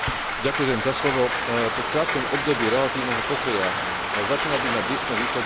Po krátkom období relatívneho pokoja začína byť na Blízkom východe opäť akosi dusnejšie.